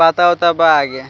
पता उता बा आगे --